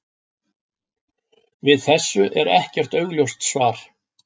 Við þessu er ekkert augljóst svar.